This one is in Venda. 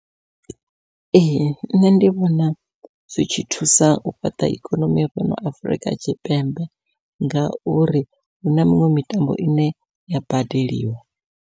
Ee nṋe ndi vhona zwi tshi thusa u fhaṱa ikonomi ya fhano Afurika Tshipembe, ngauri huna miṅwe mitambo ine ya badeliwa.